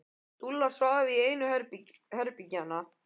Dúlla litla svaf í einu herbergjanna.